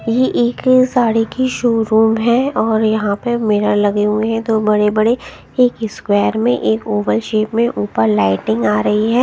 ये एक साड़ी की शोरूम है और यहां पे मिरर लगे हुए हैं दो बड़े-बड़े एक स्क्वायर में एक ओवल शेप में ऊपर लाइटिंग आ रही है।